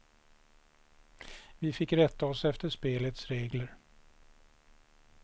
Vi fick rätta oss efter spelets regler.